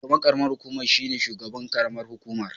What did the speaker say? Shugaban karamar hukumar shine shugaban karamar hukumar